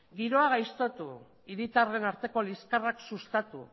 giroa gaiztotu hiritarren arteko liskarrak sustatu